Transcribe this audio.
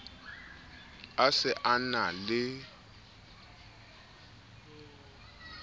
a se a na le